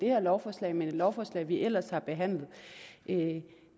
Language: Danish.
her lovforslag men et lovforslag vi ellers har behandlet